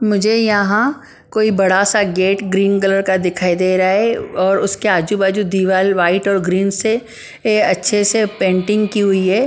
मुझे यहाँ कोई बड़ा सा गेट ग्रीन कलर का दिखाई दे रहा है और उसके आजू-बाजू दीवाल वाइट और ग्रीन से ये अच्छे से पेंटिंग की हुई है ।